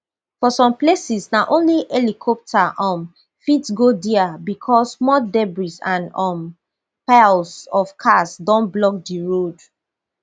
for some places na only helicopter um fit go dia becos mud debris and um piles of cars don block di road